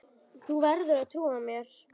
Þú verður að trúa mér.